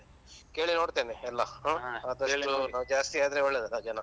ಕೇಳಿ ನೋಡ್ತೇನೆ ಎಲ್ಲ ಹ್ಮ್ ಆದಷ್ಟು ಜಾಸ್ತಿ ಆದ್ರೆ ಒಳ್ಳೇದಲ್ಲ ಜನ.